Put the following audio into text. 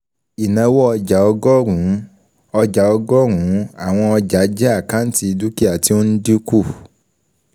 Ìnáwó ọjàọgọ́rùn-ún ọjà ọgọ́rùn-ún Àwọn ọjàjẹ́ àkáǹtì dúkìá tí ó ń dínkù